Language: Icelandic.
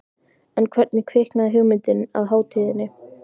En hvernig kviknaði hugmyndin að hátíðinni?